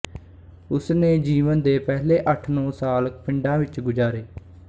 ਉਸਨੇ ਜੀਵਨ ਦੇ ਪਹਿਲੇ ਅੱਠਨੌਂ ਸਾਲ ਪਿੰਡਾਂ ਵਿੱਚ ਗੁਜ਼ਾਰੇ